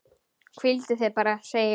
Hvíldu þig bara, segi ég.